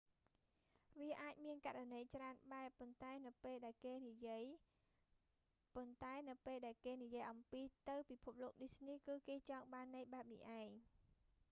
វាអាចមានករណីច្រើនបែប ប៉ុន្តែនៅពេលដែលគេនិយាយ ប៉ុន្តែនៅពេលដែលគេនិយាយអំពី ទៅពិភព disney គឺគេចង់បានន័យបែបនេះឯង